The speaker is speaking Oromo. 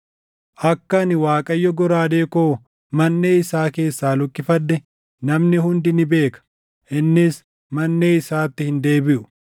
Akka ani Waaqayyo goraadee koo manʼee isaa keessaa luqqifadhe, namni hundi ni beeka; innis manʼee isaatti hin deebiʼu.’